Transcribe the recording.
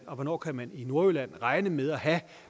og hvornår kan man i nordjylland regne med at have